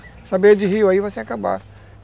Essa beira de rio aí vai se acabar.